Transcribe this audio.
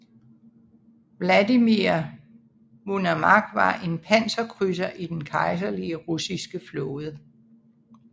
Vladimir Monomakh var en panserkrydser i Den Kejserlige Russiske Flåde